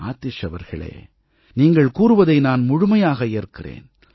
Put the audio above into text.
ஆதிஷ் அவர்களே நீங்கள் கூறுவதை நான் முழுமையாக ஏற்கிறேன்